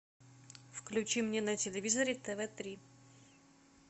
включи мне на телевизоре тв три